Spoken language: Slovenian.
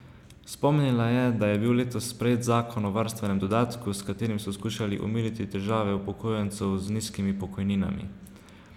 Spomnila je, da je bil letos sprejet zakon o varstvenem dodatku, s katerim so skušali omiliti težave upokojencev z nizkimi pokojninami.